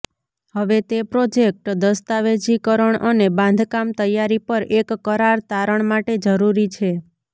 હવે તે પ્રોજેક્ટ દસ્તાવેજીકરણ અને બાંધકામ તૈયારી પર એક કરાર તારણ માટે જરૂરી છે